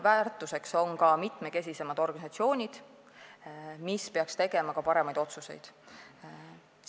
Väärtuseks on ka mitmekesisemad organisatsioonid, mis peaksid tegema parimaid otsuseid.